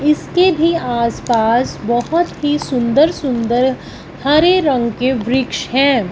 इसके भी आसपास बहुत ही सुंदर सुंदर हरे रंग के वृक्ष हैं।